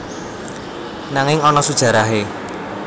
Nanging ana sujarahe